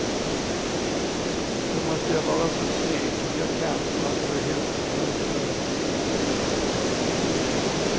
Då måste jag vara så snygg jag kan för att få ihop till brödfödan.